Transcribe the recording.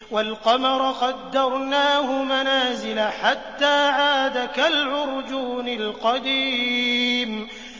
وَالْقَمَرَ قَدَّرْنَاهُ مَنَازِلَ حَتَّىٰ عَادَ كَالْعُرْجُونِ الْقَدِيمِ